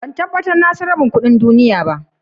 Ban tabatar na san rabin kudin duniyya ba.